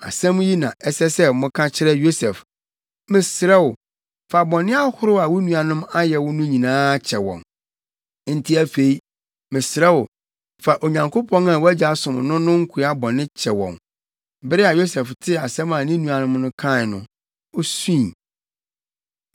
‘Asɛm yi na ɛsɛ sɛ moka kyerɛ Yosef: Mesrɛ wo, fa bɔne ahorow a wo nuanom ayɛ wo no nyinaa kyɛ wɔn.’ Enti afei mesrɛ wo, fa Onyankopɔn a wʼagya som no no nkoa bɔne kyɛ wɔn.” Bere a Yosef tee asɛm a ne nuanom no kae no, osui.